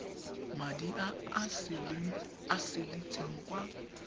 madi a a saletseng kwa